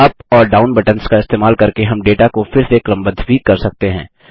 UP और down buttons का इस्तेमाल करके हम डेटा को फिर से क्रम बद्ध भी कर सकते हैं